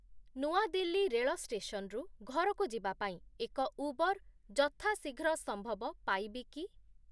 ନୂଆ ଦିଲ୍ଲୀ ରେଳ ଷ୍ଟେସନରୁ ଘରକୁ ଯିବା ପାଇଁ ଏକ ଉବର୍ ଯଥା ଶୀଘ୍ର ସମ୍ଭବ ପାଇବି କି?